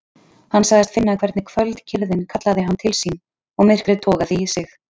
Hann sagðist finna hvernig kvöldkyrrðin kallaði hann til sín og myrkrið togaði í sig.